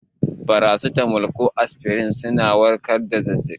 Farasitamol ko aspirin suna warkar da zazzabi.